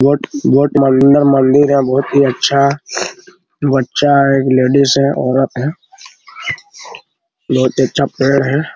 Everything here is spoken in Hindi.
बहुत-बहुत मंद मंदिर है बहुत ही अच्छा अच्छा है एक लेडिस है औरत है बहुत ही अच्छा पेड़ है |